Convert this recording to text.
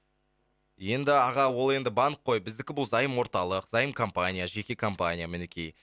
енді аға ол енді банк қой біздікі бұл заем орталық заем компания жеке компания мінекей